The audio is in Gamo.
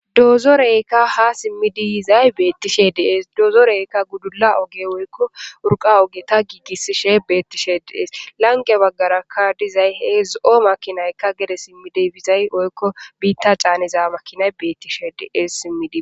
dozoreykka ha simmidiyizay beettishe dees doozoreykka gudula oge woykko urqa oge ta giigissishe beettishe dees lange baggarakka dizay he zo7o makinaykka gede simmideybizay oykko biitta caaniza makinay beettishe dees simmidii